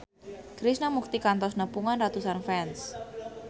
Krishna Mukti kantos nepungan ratusan fans